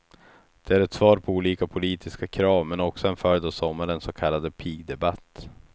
Den är ett svar på olika politiska krav, men också en följd av sommarens så kallade pigdebatt.